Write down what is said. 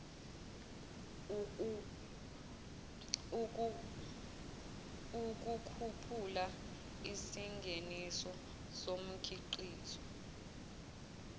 ukukhuphula isingeniso somkhiqizo